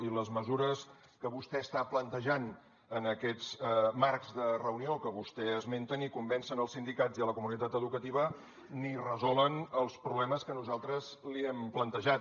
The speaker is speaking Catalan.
i les mesures que vostè està plantejant en aquests marcs de reunió que vostè esmenta ni convencen els sindicats i la comunitat educativa ni resolen els problemes que nosaltres li hem plantejat